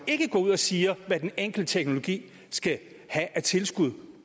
ikke går ud og siger hvad den enkelte teknologi skal have af tilskud